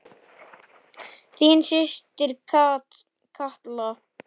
Þín systir Katla.